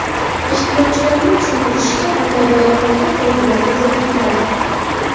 Tashkilotchilarning tushuntirishicha, bunday bayonotlar qoidalarga zid keladi.